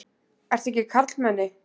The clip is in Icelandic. Ertu ekki karlmenni?